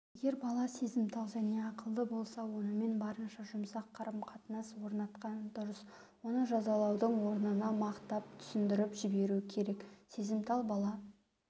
егер бала сезімтал және ақылды болса онымен барынша жұмсақ қарым-қатынас орнатқан дұрыс оны жазалаудың орнына мақтап түсіндіріп жіберу керек сезімтал бала